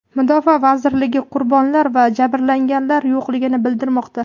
Mudofaa vazirligi qurbonlar va jabrlanganlar yo‘qligini bildirmoqda.